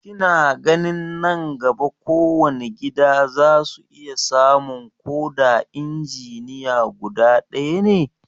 Kina ganin nan gaba kowane gida za su iya samun ko da injiniya guda ɗaya ne?